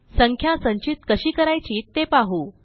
संख्या संचित कशी करायची ते पाहू